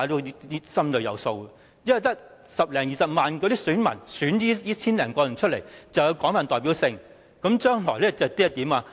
原因是，只是由十多二十萬名選民選出這千多人，就是有廣泛代表性，將來會怎樣？